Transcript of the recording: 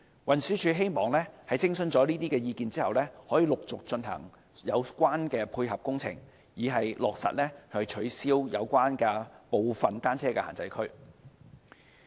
運輸署希望在徵詢這些意見後，可以陸續進行有關的配合工程，以落實取消部分單車限制區。